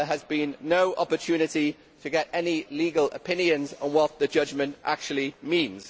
There has been no opportunity to get any legal opinions on what the judgment actually means.